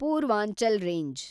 Purvanchal range